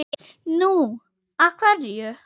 Nú. af hverju?